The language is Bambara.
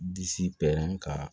Disi ka